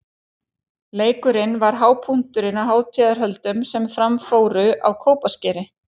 Leikurinn var hápunkturinn á hátíðarhöldum sem fram fóru á Kópaskeri.